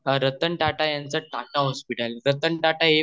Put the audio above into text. रतन टाटा याचं टाटा हॉस्पिटल त्यात रतन टाटा हे खूप